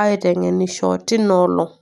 aiteng'enisho teinaa olong'.